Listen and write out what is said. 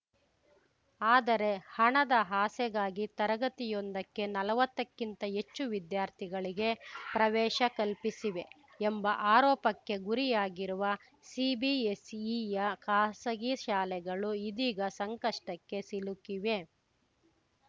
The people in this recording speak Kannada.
ಆದರೆ ಹಣದ ಆಸೆಗಾಗಿ ತರಗತಿಯೊಂದಕ್ಕೆ ನಲ್ವತ್ತಕ್ಕಿಂತ ಹೆಚ್ಚು ವಿದ್ಯಾರ್ಥಿಗಳಿಗೆ ಪ್ರವೇಶ ಕಲ್ಪಿಸಿವೆ ಎಂಬ ಆರೋಪಕ್ಕೆ ಗುರಿಯಾಗಿರುವ ಸಿಬಿಎಸ್‌ಇಯ ಖಾಸಗಿ ಶಾಲೆಗಳು ಇದಿಗ ಸಂಕಷ್ಟಕ್ಕೆ ಸಿಲುಕಿವೆ